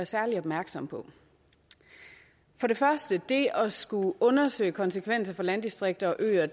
særlig opmærksomme på for det første er det at skulle undersøge konsekvenserne for landdistrikter og øer